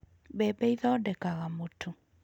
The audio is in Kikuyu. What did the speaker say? Mbembe ĩthondekaga mũtu.